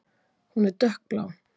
Hún er dökkblá.